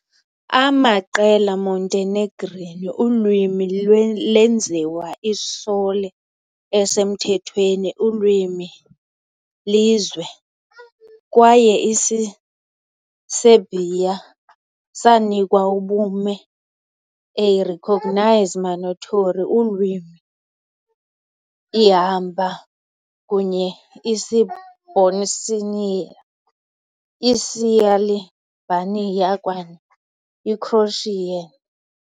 amaqela, - Montenegrin ulwimi lenziwa i-sole esemthethweni ulwimi lizwe, kwaye isiserbia sanikwa ubume a recognised minority ulwimi ihamba kunye Isibosnian, isialbania, kwaye i-croatian.